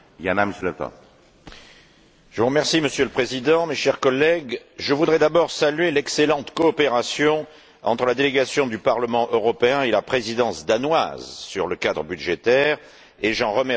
Monsieur le Président, mes chers collègues, je voudrais d'abord saluer l'excellente coopération entre la délégation du Parlement et la Présidence danoise sur le cadre budgétaire et j'en remercie personnellement le ministre Wammen.